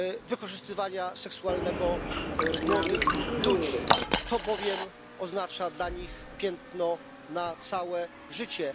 wykorzystywania seksualnego młodych ludzi, to bowiem oznacza dla nich piętno na całe życie.